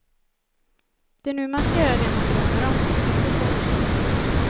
Det är nu man ska göra det man drömmer om, inte sen.